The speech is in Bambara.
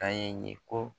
An ye ko